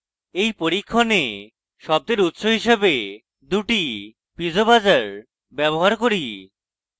in পরীক্ষণে আমরা শব্দের উৎস হিসেবে দুটি piezo buzzers ব্যবহার করি